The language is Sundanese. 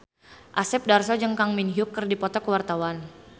Asep Darso jeung Kang Min Hyuk keur dipoto ku wartawan